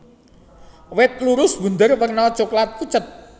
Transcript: Wit lurus bunder werna coklat pucet